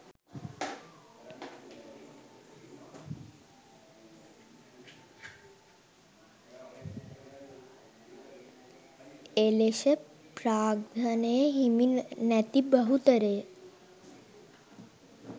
එලෙෂ ප්‍රාග්ධනය හිමි නැති බහුතරය